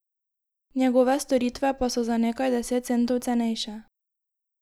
Njegove storitve pa so za nekaj deset centov cenejše.